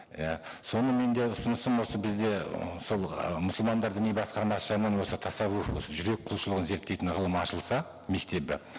иә соны менде ұсынысым осы бізде ы сол ы мұсылмандар діни басқармасы жағынан осы тассавух жүрек құлшылығын зерттейтін ғылымы ашылса мектебі